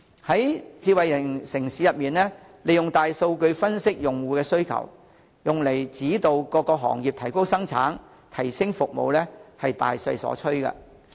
在智慧城市中，利用大數據分析用戶的需求，用以指導各行業提高生產、提升服務是大勢所趨。